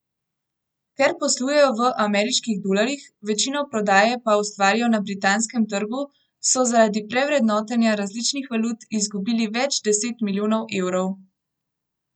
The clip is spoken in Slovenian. Ker poslujejo v ameriških dolarjih, večino prodaje pa ustvarijo na britanskem trgu, so zaradi prevrednotenja različnih valut izgubili več deset milijonov evrov.